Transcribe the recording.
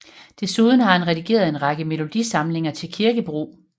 Desuden har han redigeret en række melodisamlinger til kirkebrug